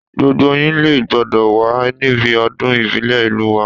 Gbogbo yín lé gbọ́dọ̀ wà níbi ọdún ìbílẹ̀ ìlú wa